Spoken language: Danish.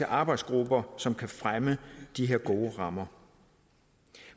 arbejdsgrupper som kan fremme de her gode rammer